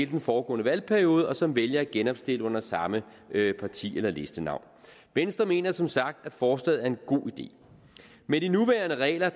den foregående valgperiode og som vælger at genopstille under samme parti eller listenavn venstre mener som sagt at forslaget er en god idé med de nuværende regler